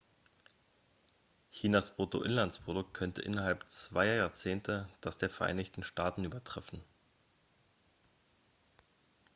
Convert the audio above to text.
chinas bruttoinlandsprodukt könnte innerhalb zweier jahrzehnte das der vereinigten staaten übertreffen